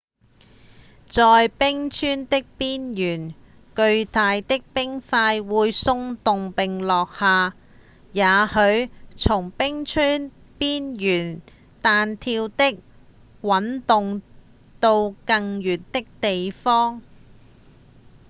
在冰川的邊緣巨大的冰塊會鬆動並落下也許會從冰川邊緣彈跳或滾動到更遠的地方